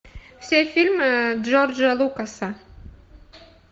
все фильмы джорджа лукаса